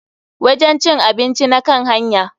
Wajen cin abinci na kan hanya.